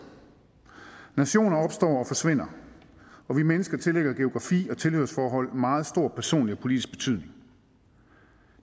nationer opstår og forsvinder og vi mennesker tillægger geografi og tilhørsforhold meget stor personlig og politisk betydning